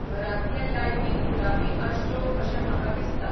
घरांतल्ये लायटी गुलाबी आसच्यो अशें म्हाका दिसता